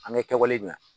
An kɛwale dɔn